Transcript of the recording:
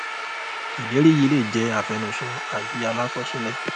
ìlérí yìí lè jẹ àfẹnusọ àbí alákọsílẹ